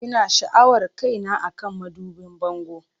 Ina sha'awar kaina akan madubin bango.